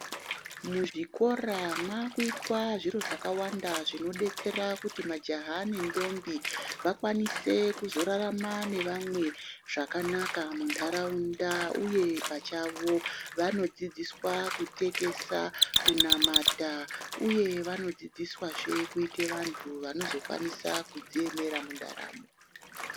Muzvikora mwakuitwa zviro zvakawanda zvinodetsera kuti majaha nendombi vakanise kuzorararma nevamwe muntaraunda uye pachavo vanodzidziswa kutekesa, kunamata uye vanodzidziswazve kuita vantu vanozodziemera mundaramo.